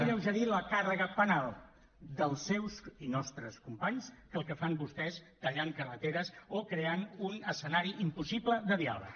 alleugerir la càrrega penal dels seus i nostres companys que el que fan vostès tallant carreteres o creant un escenari impossible de diàleg